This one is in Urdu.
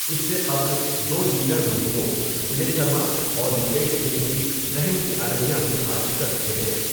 اس سے قبل دو دیگر ملزموں و نے شرما اور مکیش سنگھ کی رحم کی عرضیاں بھی خارج کر چکے ہیں ۔